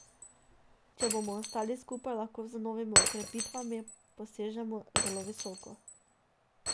Če bomo ostali skupaj, lahko z novimi okrepitvami posežemo zelo visoko.